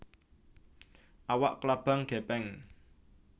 Awak klabang gèpèng